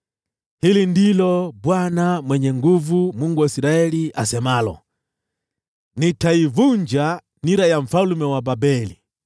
“Hili ndilo Bwana Mwenye Nguvu Zote, Mungu wa Israeli asemalo: ‘Nitaivunja nira ya mfalme wa Babeli.